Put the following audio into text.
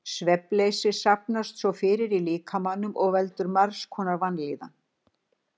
Svefnleysi safnast svo fyrir í líkamanum og veldur margs konar vanlíðan.